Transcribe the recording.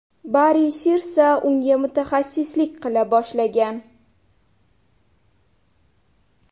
Bari Sirsa unga mutaxassislik qila boshlagan.